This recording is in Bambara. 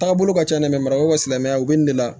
Taagabolo ka ca dɛ marako ka silamɛya u bɛ nin de la